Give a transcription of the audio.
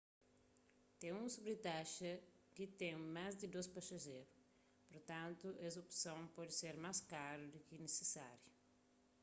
ten un sobritaxa di ten más di 2 pasajerus purtantu es opson pode ser más karu di ki nisisáriu